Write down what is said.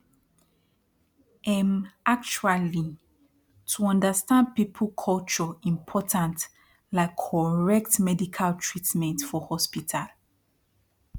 emm actuali to understand people culture important like correct medical treatment for hospital